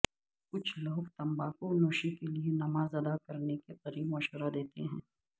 کچھ لوگ تمباکو نوشی کے لئے نماز ادا کرنے کے قریب مشورہ دیتے ہیں